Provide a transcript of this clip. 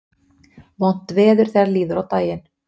Vont veður þegar líður á daginn